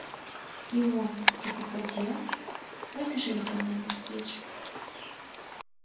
и он и попадья выбежали ко мне навстречу